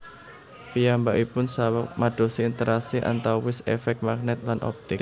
Piyambakipun saweg madosi interaksi antawis efek magnet lan optik